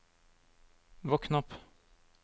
våkn opp